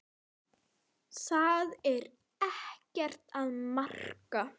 Það er ekkert að marka.